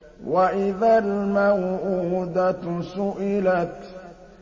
وَإِذَا الْمَوْءُودَةُ سُئِلَتْ